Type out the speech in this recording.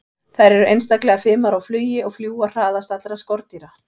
Þær eru einstaklega fimar á flugi og fljúga hraðast allra skordýra.